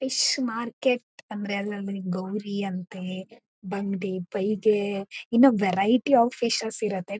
Fish market ಅಂದ್ರೆ ಗೌರಿ ಅಂತೆ ಬಂಗ್ಡೆ ಪೈಗೆ ಇನ್ನಾ ವೆರೈಟಿ ಒಫ್ ಫಿಶ್ಸ್ ಇರತೇ.